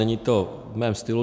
Není to v mém stylu.